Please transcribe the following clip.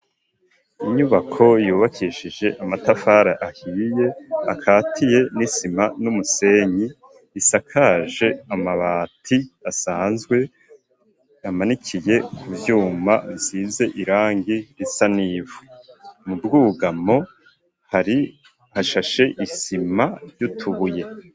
Inyubako yubakishije amatafari ahiye akatiye n'isima n'umusenyi isakaje amabati asanzwe amanikiye ku vyuma isize irangi risa n'ivu mu bwugamo hari hashashe isima y'utubuye.